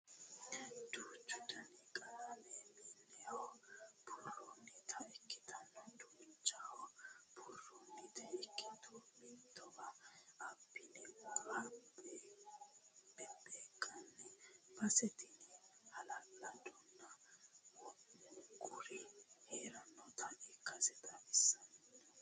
Duuchu dani qalama mineho buurannitta ikkitto uduuneho buurannitta ikkitto mittowa abbine wore beebbekkanni base tini hala'ladonna wo'munkuri heeranotta ikkaseti xawisanohu.